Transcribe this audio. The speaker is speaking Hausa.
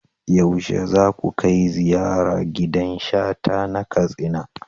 Yaushe za ku kai ziyara gidan Shata na Katsina?